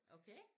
Okay